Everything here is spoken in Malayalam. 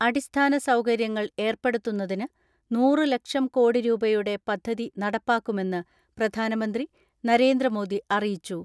അടിസ്ഥാന സൗകര്യങ്ങൾ ഏർപ്പെടുത്തുന്നതിന് നൂറ് ലക്ഷം കോടി രൂപയുടെ പദ്ധതി നടപ്പാക്കുമെന്ന് പ്രധാനമന്ത്രി നരേന്ദ്രമോദി അറി യിച്ചു.